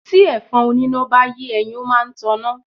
Tí ẹ̀fọn oníná bá yé ẹyin, ó máa ń taná